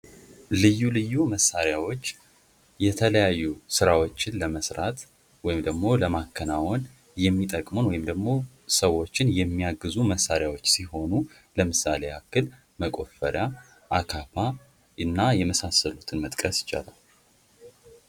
ልዩ ልዩ መሣሪያዎች የተለያዩ ስራዎችን ለመስራት ወይም ደግሞ ለማከናውን የሚጠቅሙን ወይም ደግሞ ሰዎች መሣሪያዎችን ሲሆኑ አካፋ እና የመሳሰሉትን መጥቀስ ይቻላል።